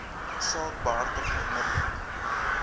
saak behartig onmiddellik